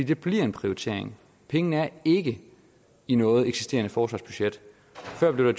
det bliver en prioritering pengene er ikke i noget eksisterende forsvarsbudget før blev der